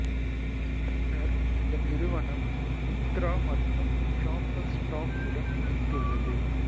பின்னர் இந்த நிறுவனம் மிந்த்ரா மற்றும் ஷாப்பர்ஸ் ஸ்டாப் உடன் இணைந்துள்ளது